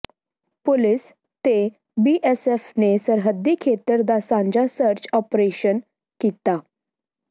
police ਤੇ BSF ਨੇ ਸਰਹੱਦੀ ਖੇਤਰ ਦਾ ਸਾਂਝਾ ਸਰਚ ਆਪ੍ਰਰੇਸ਼ਨ ਕੀਤਾ